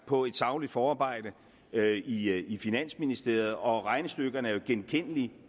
på et sagligt forarbejde i i finansministeriet og regnestykkerne er jo genkendelige